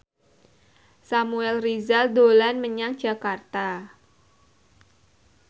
Samuel Rizal dolan menyang Jakarta